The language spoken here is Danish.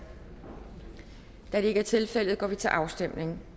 da det ikke er tilfældet går vi til afstemning